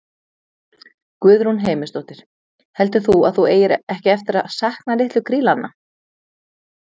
Guðrún Heimisdóttir: Heldur þú að þú eigir ekki eftir að sakna litlu krílanna?